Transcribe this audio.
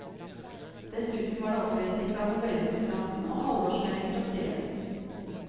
Dessuten var det opplesning fra novellekonkurransen og halvårsmelding fra styret.